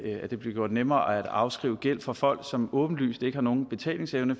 det bliver gjort nemmere at afskrive gæld for folk som åbenlyst ikke har nogen betalingsevne